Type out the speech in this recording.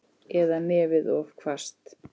Eða nefið of hvasst.